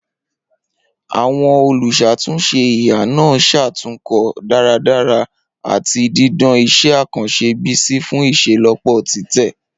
Awọn oluṣatunṣe iha naa ṣatunkọ daradara ati didan iṣẹ akanṣe Bisi fun iṣelọpọ titẹ.